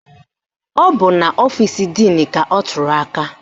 Ọ bụ n'ọfisi díìnu ka ọ tụrụ aka